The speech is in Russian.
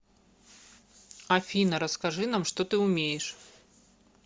афина расскажи нам что ты умеешь